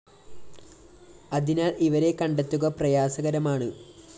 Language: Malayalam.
അതിനാല്‍ ഇവരെ കണ്ടെത്തുക പ്രയാസകരമാണ്